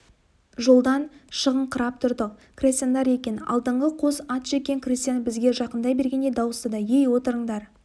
жолдан шығыңқырап тұрдық крестьяндар екен алдыңғы қос ат жеккен крестьян бізге жақындай бергенде дауыстады ей отырыңдар